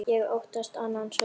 Ég óttast annan söng.